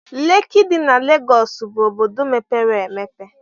Leki dị na Legọs bụ obodo mepere emepe.